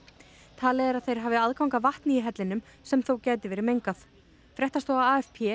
talið er að þeir hafi aðgang að vatni í hellinum sem þó gæti verið mengað fréttastofa